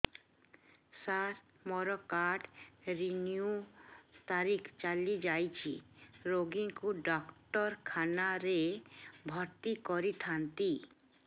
ସାର ମୋର card renew ତାରିଖ ଚାଲି ଯାଇଛି ରୋଗୀକୁ ଡାକ୍ତରଖାନା ରେ ଭର୍ତି କରିଥାନ୍ତି